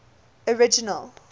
original